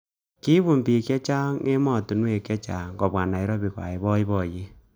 Kibun bik chechang emotonwek chechang kobwa Nairobi koai boiboyet.